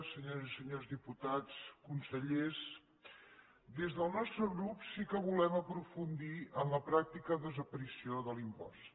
senyores i senyors diputats consellers des del nostre grup sí que volem aprofundir en la pràctica desaparició de l’impost